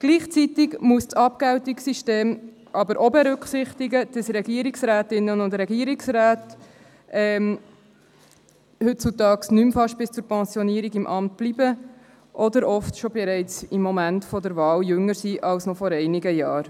Gleichzeitig muss das Abgeltungssystem auch berücksichtigen, dass Regierungsrätinnen und Regierungsräte heutzutage kaum mehr bis zur Pensionierung im Amt bleiben oder oft schon im Moment der Wahl jünger sind als noch vor einigen Jahren.